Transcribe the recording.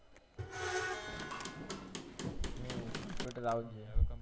હમ computer આવુંજ જ જોયે